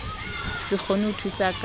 se kgone ho thusa ka